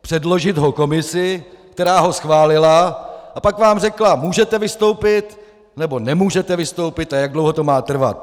předložit ho komisi, která ho schválila, a pak vám řekla "můžete vystoupit" nebo "nemůžete vystoupit" a jak dlouho to má trvat.